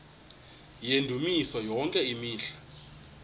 yendumiso yonke imihla